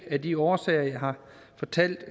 af de årsager jeg har fortalt